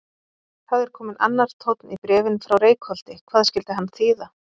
Það er kominn annar tónn í bréfin frá Reykholti, hvað skyldi hann þýða?